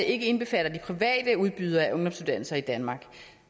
ikke indbefatter de private udbydere af ungdomsuddannelser i danmark